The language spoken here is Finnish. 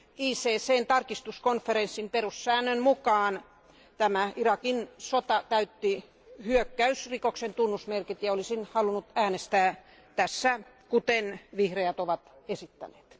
ICCn tarkistuskonferenssin perussäännön mukaan tämä Irakin sota täytti hyökkäysrikoksen tunnusmerkit, ja olisin halunnut äänestää tässä kuten vihreät ovat esittäneet.